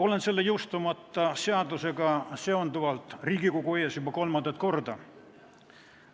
Olen selle jõustumata seadusega seonduvalt Riigikogu ees juba kolmandat korda.